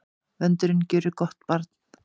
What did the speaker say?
Vöndurinn gjörir gott barn.